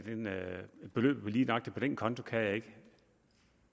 beløbet på lige nøjagtig den konto kan jeg ikke